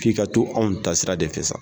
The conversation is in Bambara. K'i ka to anw ta sira de fɛ sa.